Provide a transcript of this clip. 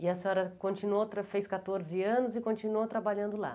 E a senhora continuou, tra fez quatorze anos e continuou trabalhando lá.